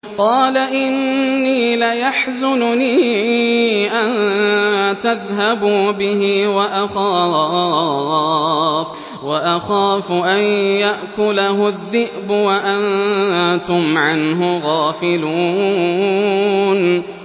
قَالَ إِنِّي لَيَحْزُنُنِي أَن تَذْهَبُوا بِهِ وَأَخَافُ أَن يَأْكُلَهُ الذِّئْبُ وَأَنتُمْ عَنْهُ غَافِلُونَ